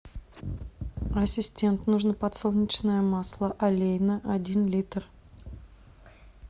ассистент нужно подсолнечное масло олейна один литр